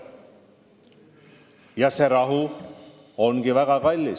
Ja see rahu ongi väga kallis.